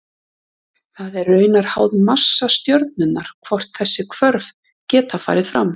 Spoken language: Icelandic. Það er raunar háð massa stjörnunnar hvort þessi hvörf geta farið fram.